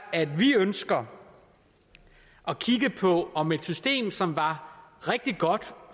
at vi ønsker at kigge på om et system som var rigtig godt